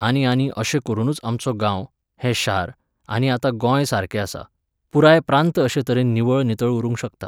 आनी आनी अशें करूनच आमचो गांव, हें शार आनी आतां गोंय सारकें आसा, पुराय प्रांत अशे तरेन निवळ नितळ उरूंक शकता